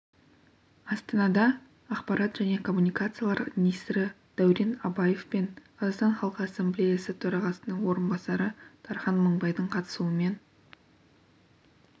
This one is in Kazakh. астанада ақпарат және коммуникациялар министрі дәурен абаев пен қазақстан халқы ассамблеясы төрағасының орынбасары дархан мыңбайдың қатысуымен